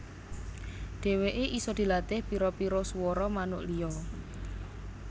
Dèwèké isa dilatih pira pira suwara manuk liya